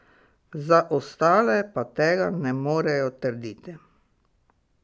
Za ostale pa tega ne morejo trditi.